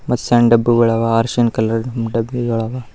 ಮತ್ತ ಸಣ್ಣ ಡಬ್ಬಿಗಳ ಅವ ಅರಿಶಿನ ಕಲರ ಡಬ್ಬಿಗಳ ಅವ.